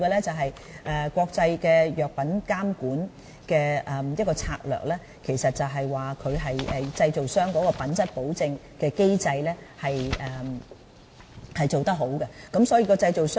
至於國際藥品監管策略，其實是指製造商的品質保證機制要做得好，這是最重要的。